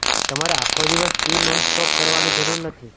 તમારે આખો દિવસ સ્કી નોન સ્ટોપ કરવાની જરૂર નથી